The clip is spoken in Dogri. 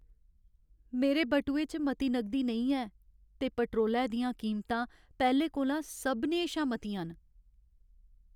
मेरे बटुए च मती नगदी नेईं ऐ ते पेट्रोलै दियां कीमतां पैह्लें कोला सभनें शा मतियां न।